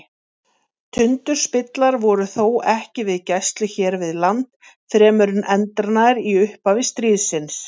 Tundurspillar voru þó ekki við gæslu hér við land fremur en endranær í upphafi stríðsins.